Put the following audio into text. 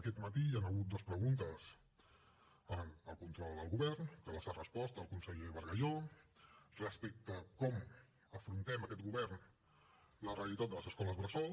aquest matí hi han hagut dues preguntes en el control al govern que les ha respost el conseller bargalló respecte a com afrontem aquest govern la realitat de les escoles bressol